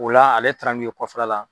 Ola ale taara nun ye kɔfɛla la.